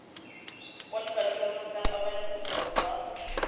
kwa dikantorong tsa pabalesego loago